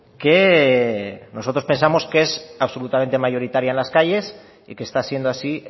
que nosotros pensamos que es absolutamente mayoritaria en las calles y que está siendo así